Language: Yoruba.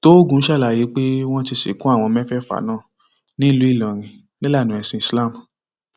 tóògùn ṣàlàyé pé wọn ti sìnkú àwọn mẹfẹẹfà náà nílùú ìlọrin nílànà ẹsìn islam